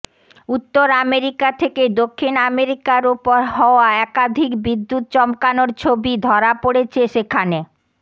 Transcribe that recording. উত্তর আমেরিকা থেকে দক্ষিণ আমেরিকার ওপর হওয়া একাধিক বিদ্যুৎ চমকানোর ছবি ধরা পড়েছে সেখানে